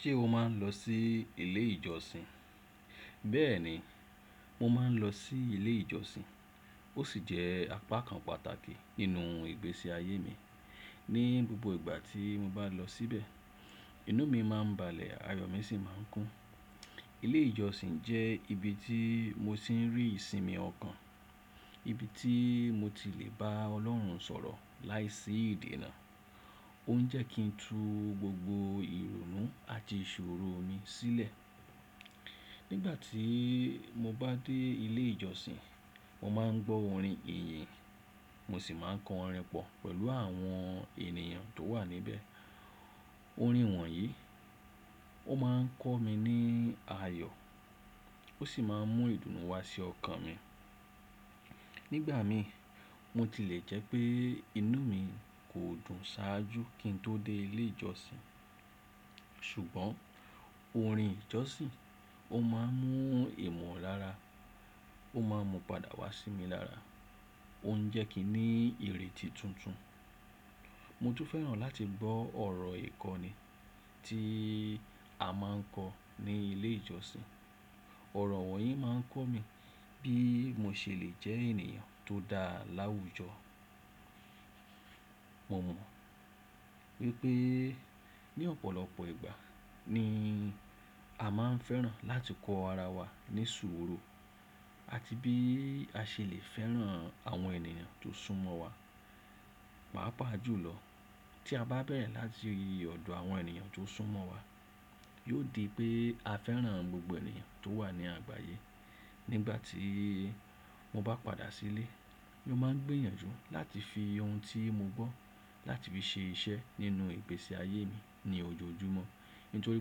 Ṣé o máa ń lọ sí ilé ìjọsìn? Bẹ́ẹ̀ni, mo máa ń lọ sí ilé ìjọsìn. Ó sì jẹ́ apá kan pàtàkì nínú ìgbésí ayé mi. Ni gbogbo ìgbà tí mo bá lọ síbẹ̀, inú mi máa ń balẹ̀ ayọ̀ mi sì máa ń kún. Ilé ìjọsìn jẹ́ ibi tí mo ti ń rí ìsinmi ọkàn, ibi tí mo ti lè bá Ọlọ́run sọ̀rọ̀ láìsí ìdènà. Ó ń jẹ́ kí n tu gbogbo ìrònú àti ìṣòro mi sílẹ̀. Nígbà tí mo bá dé ilé ìjọsìn, mo máa ń gbọ́ orin ìyìn, mo sì máa ń kọrin pọ̀ pẹ̀lú àwọn ènìyàn tó wà níbẹ̀. Orin wọ̀nyí ó máa ń kọ́ mi ní ayọ̀, ó sì máa ń mú ìdùnnú wá sí ọkàn mi. Nígbà mi, mo ti lè jẹ́ pé inú mi kò dùn ṣáájú kí n tó dé ilé ìjọsìn. Ṣùgbọ́n orin ìjọsìn ó máa ń mú ìmọ̀lára, ó máa ń mú padà wá sí mi lára. Ó ń jẹ́ kí n ní ìrètí tuntun. Mo tún fẹ́ràn láti gbọ́ ọ̀rọ̀ ìkọ́ni tí a máa ń kọ ní ilé ìjọsìn. Ọ̀rọ̀ wọ̀nyí máa ń kọ́ mi bí mo ṣe lè jẹ́ ènìyàn tó dá láwùjọ. Mo mọ̀ wípé ní ọ̀pọ̀lọpọ̀ ìgbà ni a máa ń fẹ́ràn láti kọ ara wa ní sùúrù, àti bí a ṣe lè fẹ́ràn àwọn ènìyàn tó sún mọ́ wa. Pàápàá jùlọ, tí a bá bẹ̀rẹ̀ láti ọ̀dọ̀ àwọn ènìyàn tó sún mọ́ wa, yóò di pé a fẹ́ràn gbogbo ènìyàn tó wà ní àgbáyé. Nígbà tí mo bá padà sílé, mo máa ń gbìyànjú láti fi ohun tí mo gbọ́ láti fi ṣe iṣẹ́ nínú ìgbésí ayé mi ní ojoojúmọ́. Nítorí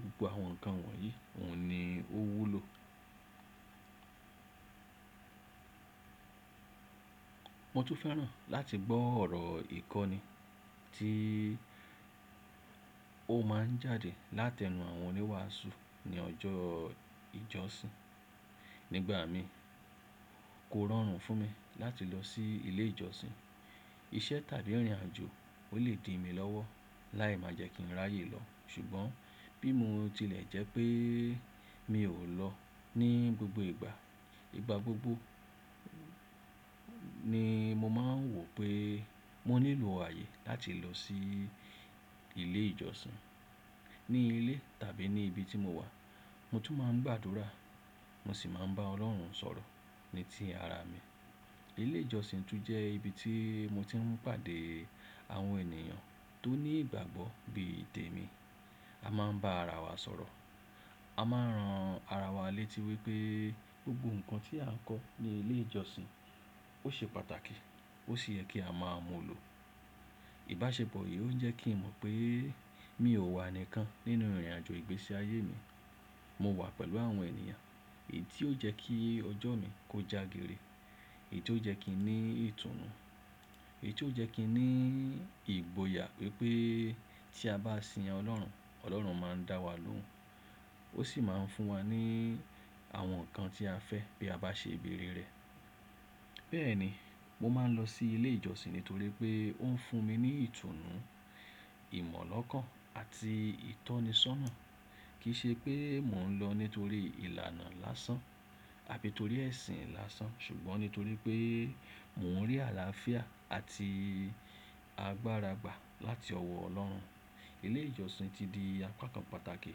gbogbo àwọn nǹkan wọ̀nyí òun ni ó wúlò. Mo tún fẹ́ràn láti gbọ́ ọ̀rọ̀ ìkọ́ni tí ó máa ń jáde látẹnu àwọn oníwàásù ní ọjọ́ ìjọsìn. Nígbà mi, kó rọrùn fún mi láti lọ sí ilé ìjọsìn. Iṣẹ́ tàbí ìrìnàjò ó lè di mi lọ́wọ́ láì má jẹ́ kí n ráyè lọ. Ṣùgbọ́n bí mo tilẹ̀ jẹ́ pé mi ò lọ ní gbogbo ìgbà, ìgbà gbogbo ni mo máa ń wò pé mó nilo aye láti lọ sí ilé ìjọsìn. Ní ilé tàbí ní ibi tí mo wà, mo tún máa ń gbàdúrà, mo sì máa ń bá Ọlọ́run sọ̀rọ̀ ní tí ara mi. Ilé ìjọsìn tún jẹ́ ibi tí mo ti ń pàdé àwọn ènìyàn tó ní ìgbàgbọ́ bí i tèmi. A máa ń bá ara wa sọ̀rọ̀. A máa ń ran ara wa létí wípé gbogbo nǹkan tí à ń kọ́ ní ilé ìjọsìn ó ṣe pàtàkì ó sì yẹ kí a máa mú lo. Ìbáṣepọ̀ yìí ó ń jẹ́ kí n mọ̀ pé mi ò wà nìkan nínú ìrìnàjò ìgbésí ayé mi. Mo wà pẹ̀lú àwọn ènìyàn èyí ti o jẹ́ kí ọjọ́ mi kó jagere, èyí ti ó jẹ́ kí n ní ìtùnú, èyí ti ó jẹ́ kí n ní ìgboyà wípé tí a bá sin Ọlọ́run, Ọlọ́run máa ń dá wa lóhùn. Ó sì máa ń fún wa ní àwọn nǹkan tí a fẹ́ bí a bá ṣe ìbẹ̀rẹ̀ rẹ̀. Bẹ́ẹ̀ni, mo máa ń lọ sí ilé ìjọsìn nítorí pé ó ń fún mi ní ìtùnú, ìmọ̀lọ́kàn àti ìtọ́nisọ́nà. Kì í ṣe pé mò ń lọ nítorí ìlànà lásán àbí torí ẹ̀sìn lásán. Ṣùgbọ́n nítorí pé mò ń rí àlàáfíà àti agbára gbà láti ọwọ́ Ọlọ́run. Ilé ìjọsìn ti di apá kan pàtàkì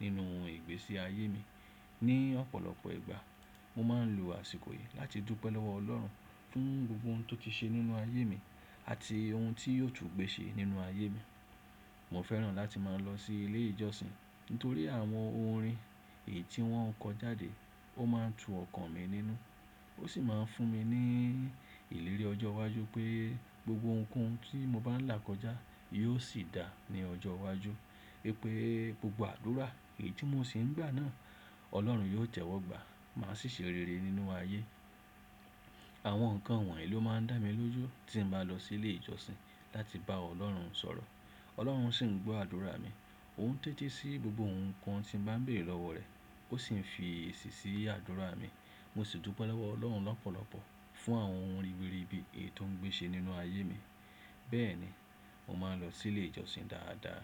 nínú ìgbésí ayé mi. Ni ọ̀pọ̀lọpọ̀ ìgbà, mo máa ń lo àsìkò yìí láti dúpẹ́ lọ́wọ́ Ọlọ́run fún gbogbo ohun tó ti ṣe nínú ayé mi àti ohun tí yóò tún gbé ṣe nínú ayé mi. Mo fẹ́ràn láti máa lọ sí ilé ìjọsìn nítorí àwọn orin èyí tí wọ́n ń kọ jáde ó máa ń tu ọkàn mi nínú. Ó sì máa ń fún mi ní ìlérí ọjọ́ iwájú pé gbogbo ohun kohun tí mo bá ń là kọjá yóò sì dáa ní ọjọ́ iwájú. Wípé gbogbo àdúrà èyí tí mo sì ń gbà náà Ọlọ́run yóò tẹ̀wọ́gbà máa sì ṣe rere nínú ayé. Àwọn nǹkan wọ̀nyí ló máa ń dá mi lójú tí m bá lọ sí ilé ìjọsìn láti bá Ọlọ́run sọ̀rọ̀. Ọlọ́run sì ń gbọ́ àdúrà mi, òun ń tẹ́ti sí gbogbo ohun kan tí mo bá ń béèrè lọ́wọ́ rẹ̀. Ó sì ń fi èsì sí àdúrà mi. Mo sì dúpẹ́ lọ́wọ́ Ọlọ́run lọ́pọ̀lọpọ̀ fún àwọn ohun ribiribi èyí tó ń gbé ṣe nínú ayé mi. Bẹ́ẹ̀ni, mo máa ń lọ sí ilé ìjọsìn dáadáa.